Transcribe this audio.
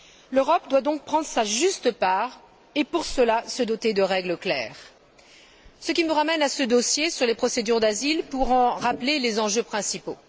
L'Europe doit donc prendre sa juste part et, pour cela, se doter de règles claires. Ce qui me ramène à ce dossier sur les procédures d'asile, pour en rappeler les enjeux principaux.